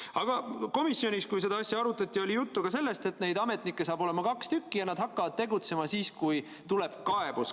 Aga komisjonis, kui seda asja arutati, oli juttu ka sellest, et neid ametnikke saab olema kaks ja nad hakkavad tegutsema siis, kui tuleb kaebus.